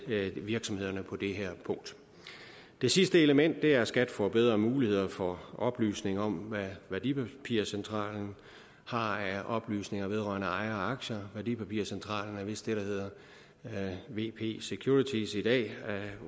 virksomhederne på det her punkt det sidste element er at skat får bedre muligheder for oplysning om hvad værdipapircentralen har af oplysninger vedrørende ejer og aktier værdipapircentralen er vist det der hedder vp securities i dag